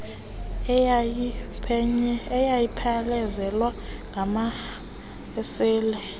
eyayiphelezelwa ngama esile